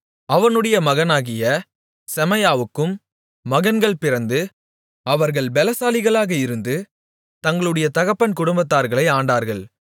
அவனுடைய மகனாகிய செமாயாவுக்கும் மகன்கள் பிறந்து அவர்கள் பெலசாலிகளாக இருந்து தங்களுடைய தகப்பன் குடும்பத்தார்களை ஆண்டார்கள்